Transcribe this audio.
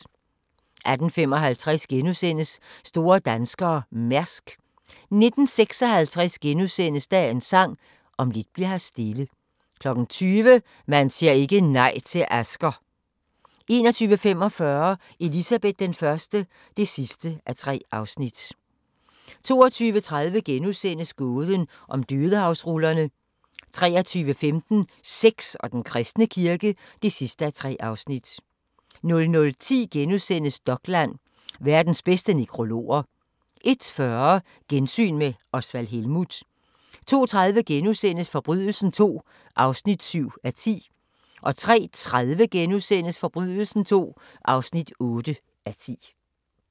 18:55: Store danskere – Mærsk * 19:56: Dagens Sang: Om lidt bli'r her stille * 20:00: Man siger ikke nej til Asger! 21:45: Elizabeth I (3:3) 22:30: Gåden om Dødehavsrullerne * 23:15: Sex og den kristne kirke (3:3) 00:10: Dokland: Verdens bedste nekrologer * 01:40: Gensyn med Osvald Helmuth 02:30: Forbrydelsen II (7:10)* 03:30: Forbrydelsen II (8:10)*